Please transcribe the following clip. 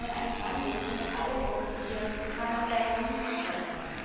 Von einem Handel, von dem alle profitieren, kann man daher nicht sprechen.